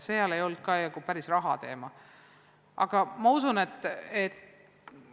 Sellistelgi juhtudel ei olnud raha peamine teema.